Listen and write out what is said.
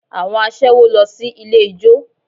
Àwọn aṣẹ́wó lọ sí ilé ijó